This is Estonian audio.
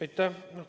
Aitäh!